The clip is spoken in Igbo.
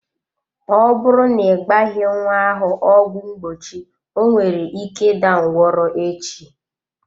Ọ bụrụ na ị gbaghi nwa ahụ ọgwụ mgbochi onwere ike ịda ngwọrọ echi.